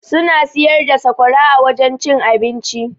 Suna siyar da sakwara a wajen cin abinci.